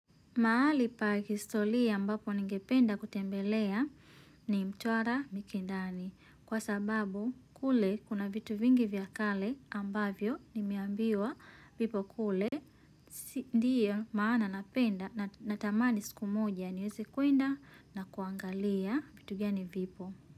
Mahali pa kihistoria ambapo ningependa kutembelea ni mtwara mikindani. Kwa sababu kule kuna vitu vingi vya kale ambavyo nimeambiwa vipo kule. Ndiyo maana napenda natamani siku moja niweze kuenda na kuangalia vitu gani vipo.